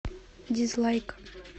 дизлайк